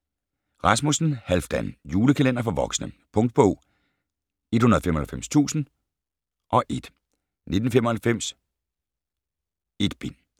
Rasmussen, Halfdan: Julekalender for voksne Punktbog 195001 1995. 1 bind.